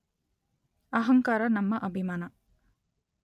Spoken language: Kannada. ಅಹಂಕಾರ ನಮ್ಮ ಅಭಿಮಾನ